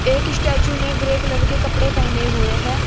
एक स्टैचू ने grey colour के कपड़े पहने हुए हैं।